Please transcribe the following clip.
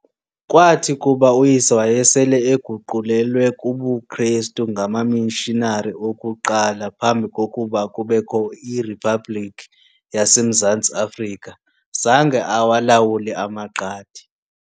Kwathi kuba uyise wayesele eguqulelwe kubuKrestu ngamamishinari okuqala phambi kokuba kubekho iRiphabhlikhi yaseMzantsi Afrika, zange awalawule amaQadi.